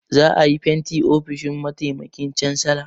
Za a yi fentin ofishin mataimakin cansala.